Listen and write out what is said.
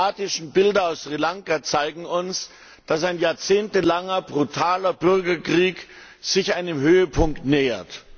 Die dramatischen Bilder aus Sri Lanka zeigen uns, dass ein jahrzehntelanger brutaler Bürgerkrieg sich seinem Höhepunkt nähert.